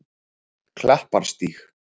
Klapparstíg